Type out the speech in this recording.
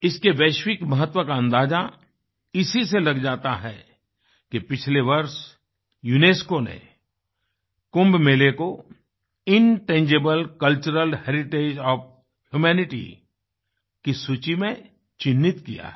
इसके वैश्विक महत्व का अंदाज़ा इसी से लग जाता है कि पिछले वर्ष यूनेस्को ने कुंभ मेले को intangible cultural heritage of humanity की सूची में चिन्हित किया है